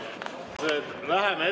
Head ametikaaslased!